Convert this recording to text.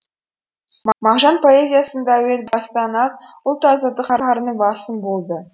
мағжан поэзиясында әуел бастан ақ ұлт азаттық сарыны басым болды